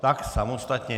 Tak samostatně.